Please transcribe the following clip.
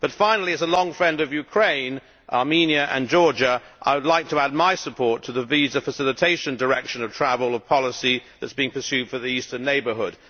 Finally, as a longstanding friend of Ukraine, Armenia and Georgia, I would like to add my support to the visa facilitation direction of travel policy that is being pursued for the Eastern Neighbourhood.